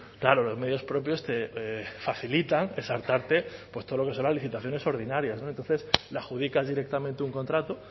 claro los medios propios facilitan todo lo que son las licitaciones ordinarias entonces le adjudicas directamente un contrato